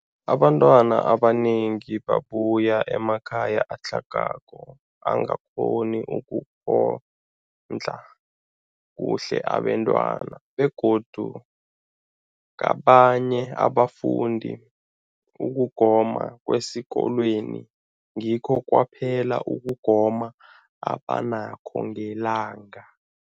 Abantwana abanengi babuya emakhaya atlhagako angakghoni ukondla kuhle abentwana, begodu kabanye abafundi, ukugoma kwesikolweni ngikho kwaphela ukugoma abanakho ngelanga.